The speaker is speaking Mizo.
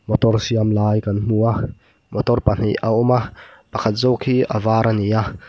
motor siam lai kan hmu a motor pahnih a awma pakhat zawk hi a var ania--